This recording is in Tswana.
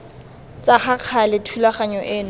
tsa ka gale thulaganyo eno